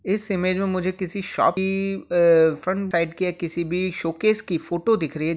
इस इमेज में मुझे किसी शॉप की अअ फ्रंट साइड की या किसी भी शोकेस की फोटो दिख रही है ।